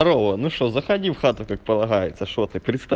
дарова ну что заходи в хату как полагается что ты представь